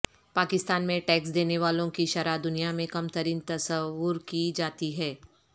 پاکستان میں ٹیکس دینے والوں کی شرح دنیا میں کم ترین تصور کی جاتی ہے